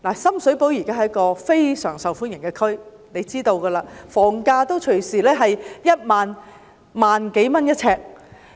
深水埗現時是非常受歡迎的地區，大家知道，房價動輒也要每平方呎1萬多元。